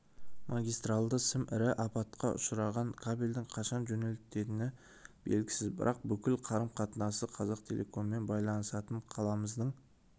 магистралды сым ірі апатқа ұшыраған кабельдің қашан жөнделетіні белгісіз бірақ бүкіл қарым-қатынасы қазақтелекоммен байланысатын қаламыздың